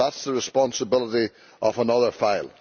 that is the responsibility of another file.